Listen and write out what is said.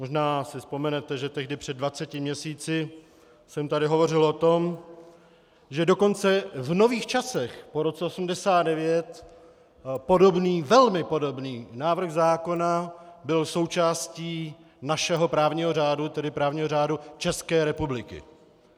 Možná si vzpomenete, že tehdy před dvaceti měsíci jsem tady hovořil o tom, že dokonce v nových časech po roce 1989 podobný, velmi podobný návrh zákona byl součástí našeho právního řádu, tedy právního řádu České republiky.